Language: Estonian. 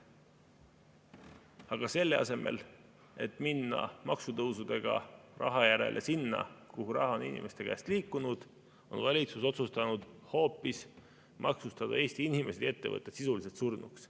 Aga selle asemel, et minna maksutõusudega raha järele sinna, kuhu raha on inimeste käest liikunud, on valitsus otsustanud hoopis maksustada Eesti inimesed ja ettevõtted sisuliselt surnuks.